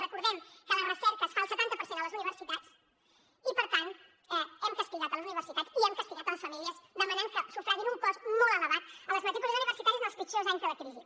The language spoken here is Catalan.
recordem que la recerca es fa el setanta per cent a les universitats i per tant hem castigat la universitat i hem castigat les famílies demanant que sufraguin a un cost molt elevat les matrícules universitàries en els pitjors anys de la crisi